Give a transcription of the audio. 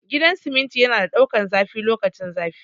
Gidan siminti yana da daukan zafi lokacin zafi